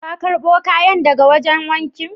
Ka karbo kayan daga wajen wanki